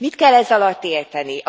Mit kell ez alatt érteni?